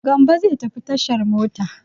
Gambo zai tafi tashar mota.